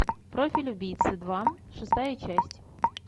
профиль убийцы два шестая часть